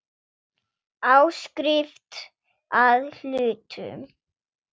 Áskrift að hlutum.